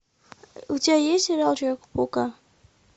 у тебя есть сериал человека паука